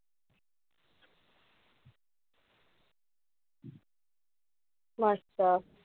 मस्त.